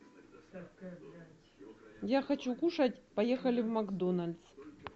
я хочу кушать поехали в макдональдс